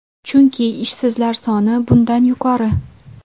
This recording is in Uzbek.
Chunki ishsizlar soni bundan yuqori.